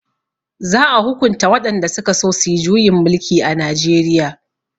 za a hukunta waɗanda sukaso suyi juyin mulki a najeriya